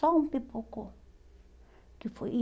Só um pipocou. Que foi e